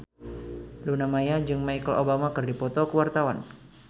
Luna Maya jeung Michelle Obama keur dipoto ku wartawan